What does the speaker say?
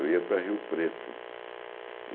Eu ia para Rio Preto.